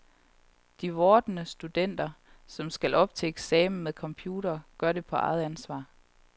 De vordende studenter, som skal op til eksamen med computer, gør det på eget ansvar.